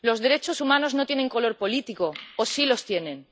Los derechos humanos no tienen color político, ¿o sí lo tienen?